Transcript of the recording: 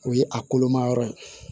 O ye a kolomayɔrɔ ye